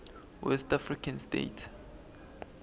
west african states